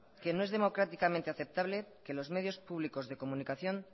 que no es democráticamente aceptable que los medios públicos de comunicación